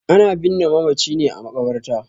Ana binne mamaci ne a maƙabarta.